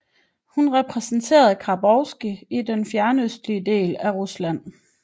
Hun repræsenterede Khabarovsk i den fjernøstlige del af Rusland